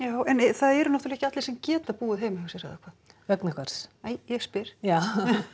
það eru náttúrulega ekki allir sem geta búið heima hjá sér eða hvað vegna hvers nei ég spyr já